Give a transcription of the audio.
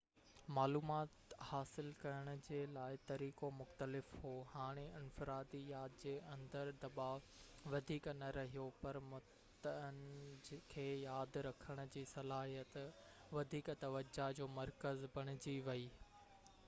معلومات حاصل ڪرڻ جي لاءِ طريقو مختلف هو هاڻي انفرادي ياد جي اندر دٻاءُ وڌيڪ نہ رهيو پر متن کي ياد رکڻ جي صلاحيت وڌيڪ توجہ جو مرڪز بڻجي ويئي